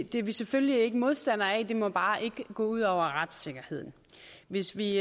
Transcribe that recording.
det er vi selvfølgelig ikke modstandere af men det må bare ikke gå ud over retssikkerheden hvis vi